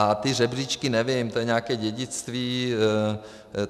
A ty žebříčky, nevím, to je nějaké dědictví.